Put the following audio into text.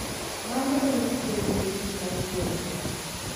Mano en tieng` mogik mar nyuolo nyathi.